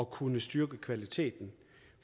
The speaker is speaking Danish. kunne styrke kvaliteten